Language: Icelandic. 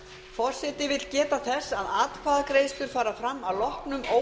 forseti vill geta þess að atkvæðagreiðslur fara fram að loknum óundirbúnum